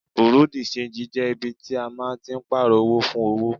Bùréú-di-ṣenji jẹ́ ibi tí a máa ń tí pààrò owó fún owó.